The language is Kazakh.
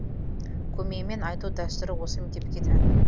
көмеймен айту дәстүрі осы мектепке тән